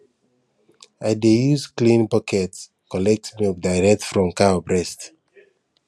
i dey use clean bucket collect milk direct from cow breast